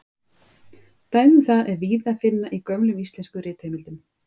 Dæmi um það er víða að finna í gömlum íslenskum ritheimildum.